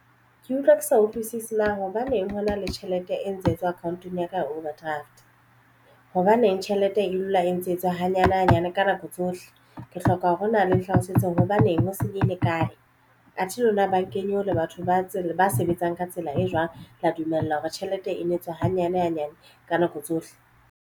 Ke utlwa ke sa utlwisisi na hobaneng hona le tjhelete e ntse e tswa account-ong ya ka ya overdraft hobaneng tjhelete e dula e ntse etswa hanyane hanyane ka nako tsohle ke hloka hore nna le nhlalosetseng hobaneng ho senyehile kae athe lona ba kenye ho le batho ba sebetsang ka tsela e jwang. Le a dumella hore tjhelete ena e tswa hanyane hanyane ka nako tsohle.